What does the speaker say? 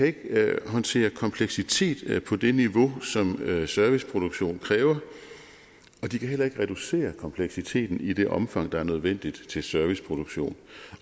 ikke kan håndtere kompleksitet på det niveau som serviceproduktion kræver og de kan heller ikke reducere kompleksiteten i det omfang der er nødvendigt til serviceproduktion